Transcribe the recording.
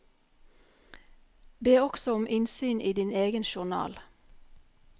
Be også om innsyn i din egen journal.